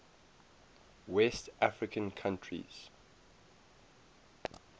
west african countries